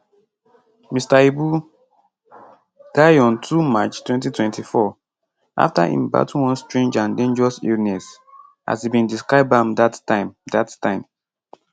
mr ibu die on 2 march 2024 afta im battle one strange and dangerous illness as e bin describe am dat time dat time